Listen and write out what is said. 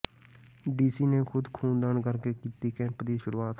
DC ਨੇ ਖੁਦ ਖ਼ੂਨਦਾਨ ਕਰਕੇ ਕੀਤੀ ਕੈਂਪ ਦੀ ਸ਼ੁਰੂਆਤ